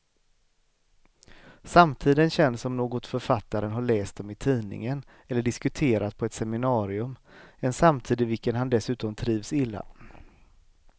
Samtiden känns som något författaren har läst om i tidningen eller diskuterat på ett seminarium, en samtid i vilken han dessutom trivs illa.